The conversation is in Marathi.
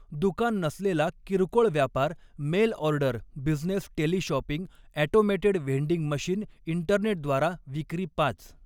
दुकान नसलेला किरकोळ व्यापार mail order business teleshopping automated vending machine इंटरनेटद्वारा विक्री पाच.